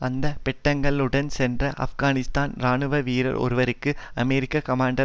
அந்த பெட்டகங்களுடன் சென்ற ஆப்கானிஸ்தான் இராணுவ வீரர் ஒருவருக்கு அமெரிக்க கமாண்டர்